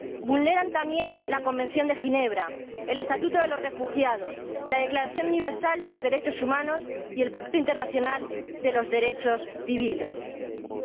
Vulneran, también, la Convención de Ginebra, el Estatuto de los Refugiados, la Declaración Universal de Derechos Humanos y el Pacto Internacional de Derechos Civiles y Políticos.